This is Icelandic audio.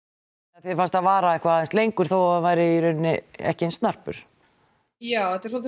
þér fannst hann vara eitthvað aðeins lengur þó það væri í rauninni ekki eins snarpur já þetta er dálítið